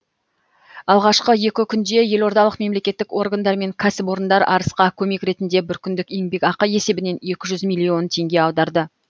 алғашқы екі күнде елордалық мемлекеттік органдар мен кәсіпорындар арысқа көмек ретінде бір күндік еңбекақы есебінен екі жүз миллион теңге аударды